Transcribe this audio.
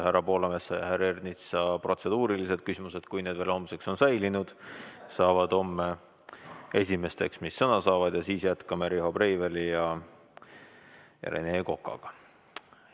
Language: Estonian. Härra Poolametsa ja härra Ernitsa protseduurilised küsimused, kui need veel homseks on säilinud, saavad homme esimesteks sõnavõttudeks ja siis jätkame Riho Breiveli ja Rene Kokaga.